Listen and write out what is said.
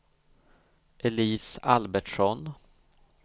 Elise Albertsson